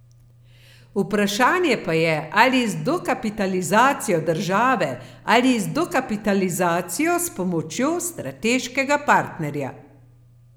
Vprašanje pa je ali z dokapitalizacijo države ali z dokapitalizacijo s pomočjo strateškega partnerja.